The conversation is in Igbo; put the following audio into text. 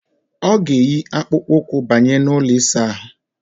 Ọ ga-eyi akpụkpụụkwụ banye n' ụlọ ịsaahụ.